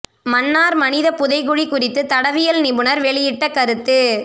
மன்னார் மனித புதைகுழி குறித்து தடயவியல் நிபுணர் வெளியிட்ட கருத்து